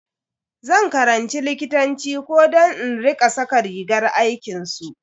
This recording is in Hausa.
Zan karanci likitanci ko don in rika saka rigar aikinsu.